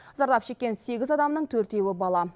зардап шеккен сегіз адамның төртеуі бала